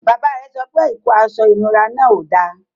Bàbá rẹ̀ sọ pé ikó àṣọ ìnúrà náà ó dá.